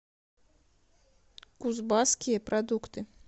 кузбасские продукты